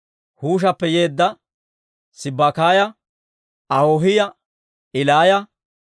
Huushappe yeedda Sibbakaaya, Ahoohiyaa Ilaaya,